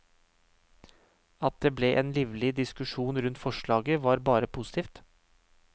At det ble en livlig diskusjon rundt forslaget, var bare positivt.